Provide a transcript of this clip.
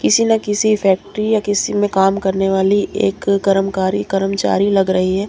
किसी न किसी फैक्ट्री या किसी में काम करने वाली एक करमकारी कर्मचारी लग रही है।